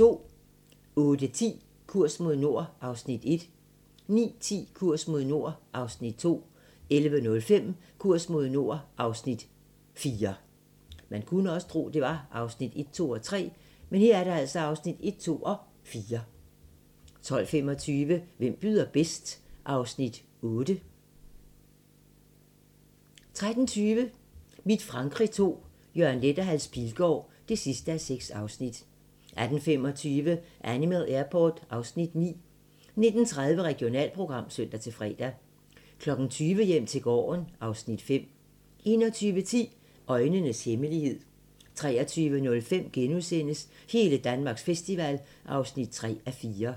08:10: Kurs mod nord (Afs. 1) 09:10: Kurs mod nord (Afs. 2) 11:05: Kurs mod nord (Afs. 4) 12:25: Hvem byder bedst? (Afs. 8) 13:20: Mit Frankrig II - Jørgen Leth & Hans Pilgaard (6:6) 18:25: Animal Airport (Afs. 9) 19:30: Regionalprogram (søn-fre) 20:00: Hjem til gården (Afs. 5) 21:10: Øjnenes hemmelighed 23:05: Hele Danmarks festival (3:4)*